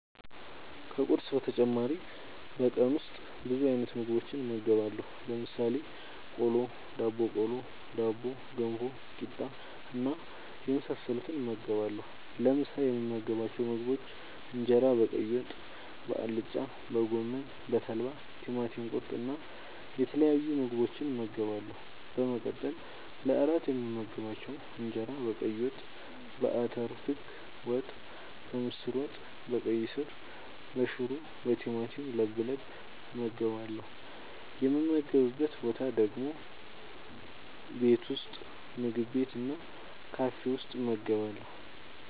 ከቁርስ በተጨማሪ በቀን ውስጥ ብዙ አይነት ምግቦችን እመገባለሁ። ለምሳሌ፦ ቆሎ፣ ዳቦቆሎ፣ ዳቦ፣ ገንፎ፣ ቂጣ እና የመሳሰሉትን እመገባለሁ። ለምሳ የምመገባቸው ምግቦች እንጀራ በቀይ ወጥ፣ በአልጫ፣ በጎመን፣ በተልባ፣ ቲማቲም ቁርጥ እና የተለያዩ ምግቦችን እመገባለሁ። በመቀጠል ለእራት የምመገባቸው እንጀራ በቀይ ወጥ፣ በአተር ክክ ወጥ፣ በምስር ወጥ፣ በቀይ ስር፣ በሽሮ፣ በቲማቲም ለብለብ እመገባለሁ። የምመገብበት ቦታ ደግሞ ቤት ውስጥ፣ ምግብ ቤት እና ካፌ ውስጥ እመገባለሁ።